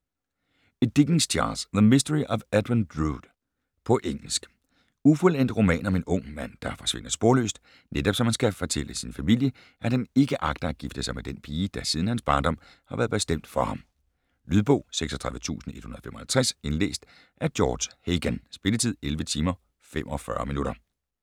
Dickens, Charles: The mystery of Edwin Drood På engelsk. Ufuldendt roman om en ung mand der forsvinder sporløst, netop som han skal fortælle sin familie, at han ikke agter at gifte sig med den pige, der siden hans barndom har været bestemt for ham. Lydbog 36155 Indlæst af George Hagan Spilletid: 11 timer, 45 minutter